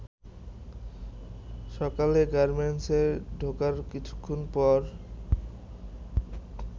সকালে গার্মেন্টসে ঢোকার কিছুক্ষণ পর